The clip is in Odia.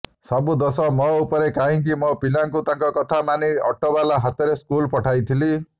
ସବୁ ଦୋଷ ମୋର ମୁଁ କାହିଁକି ମୋ ପିଲାକୁ ତାଙ୍କ କଥା ମାନି ଅଟୋବାଲା ହାତରେ ସ୍କୁଲ ପଠାଇଲି